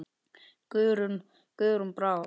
Guðrún Brá.